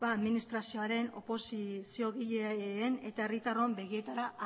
ba administrazioaren oposiziogileen eta herritarron begietara